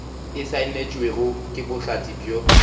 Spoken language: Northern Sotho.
e saenetšwego ke bohlatse bjo